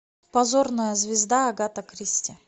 позорная звезда агата кристи